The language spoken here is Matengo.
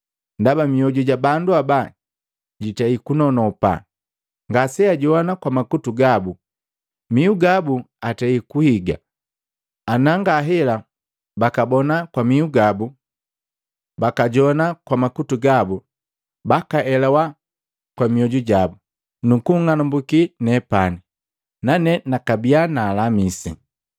Ndaba mioju ja bandu aba jitei kunonopa, ngaseajoana kwa makutu gabu, mihu gabu atei kuhigi. Ana ngahela, bakabona kwa mihu gabu, bakajoana kwa makutu gabu, bakaelawa kwa mioju jabu, nukung'anumbuki nepani, nane nakabiya nalamisi.’